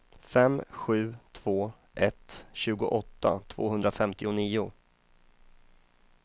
fem sju två ett tjugoåtta tvåhundrafemtionio